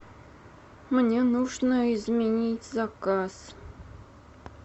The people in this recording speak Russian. мне нужно изменить заказ